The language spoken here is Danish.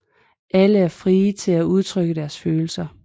Alle er frie til at udtrykke deres følelser